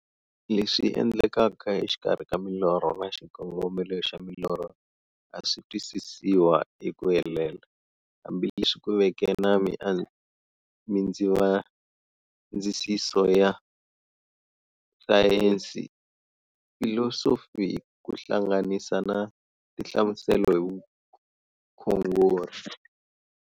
Leswi endlekaka exikarhi ka milorho na xikongomelo xa milorho a swisi twisisiwa hi ku helela, hambi leswi ku veke na mindzavisiso ya sayensi, filosofi ku hlanganisa na tinhlamuselo hi vukhongori.